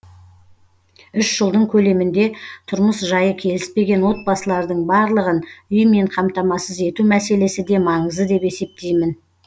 үш жылдың көлемінде тұрмыс жайы келіспеген отбасылардың барлығын үймен қамтамасыз ету мәселесі де маңызды деп есептеймін